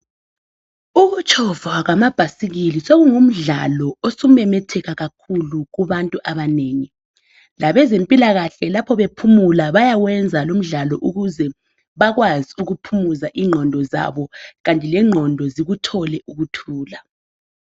Ukutshova kwamabhasikili sokungumdlalo osumemetheka kakhulu kubantu abanengi .Labezempilakahle lapho bephumula bayawenza lowu mdlalo ukuze bakwazi ukuphumuza ingqondo zabo kanti lenqondo zikuthole ukuthula.